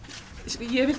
ég vil